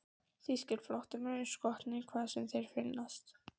Þýskir flóttamenn eru skotnir, hvar sem þeir finnast.